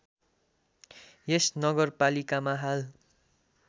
यस नगरपालिकामा हाल